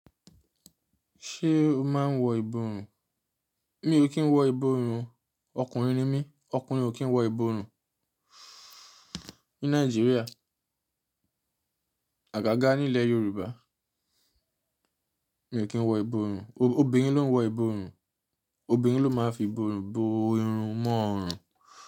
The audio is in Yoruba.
Ṣé o máa ń wọ ìborùn? Mi ò kí ń wọ ìborùn. Ọkùnrin ni mí, ọkùnrin ò kí ń wọ ìborùn ní Nàìjíríà. Àgágá ní ilẹ̀ Yorùbá, mi ò kí ń wọ ìborùn. Obìnrin ló ń wọ ìborùn. Obìnrin ló máa ń fi ìborùn bo irun mọ́ ọrùn.